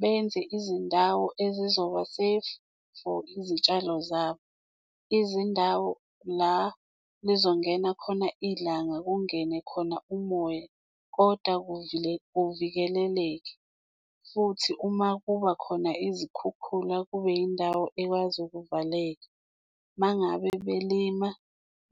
benze izindawo ezizoba safe for izitshalo zabo. Izindawo la lizongena khona ilanga kungene khona umoya kodwa kuvikeleleke futhi uma kuba khona izikhukhula, kube yindawo ekwazi ukuvaleka. Uma ngabe belima